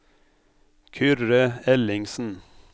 Kyrre Ellingsen